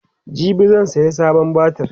jibi zan saya sabon batir